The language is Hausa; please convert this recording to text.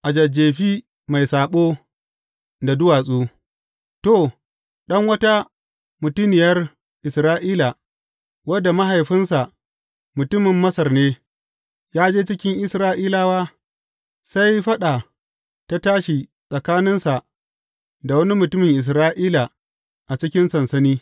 A Jajjefi mai saɓo da duwatsu To, ɗan wata mutuniyar Isra’ila wanda mahaifinsa mutumin Masar ne, ya je cikin Isra’ilawa, sai faɗa ta tashi tsakaninsa da wani mutumin Isra’ila a cikin sansani.